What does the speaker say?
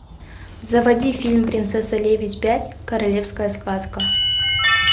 заводи фильм принцесса лебедь пять королевская сказка